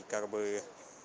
как бы